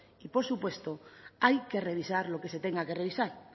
y por supuesto hay que revisar lo que se tenga que revisar